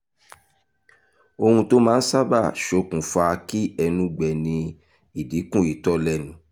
ohu tó máa ń sábà ṣokùnfà kí ẹnu gbẹ ni ìdínkù itọ́ lẹ́nu